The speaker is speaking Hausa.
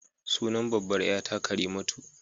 Sunan babbar ƴa ta Karimatu.